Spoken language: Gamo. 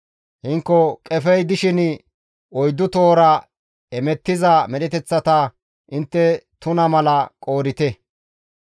Hinko qefey dishin oyddu tohora hemettiza medheteththata intte tuna mala qoodite.